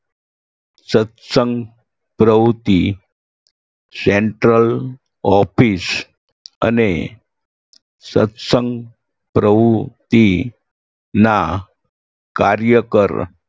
સત્સંગ પ્રવૃત્તિ central office અને સત્સંગ પ્રવુતિના કાર્યકર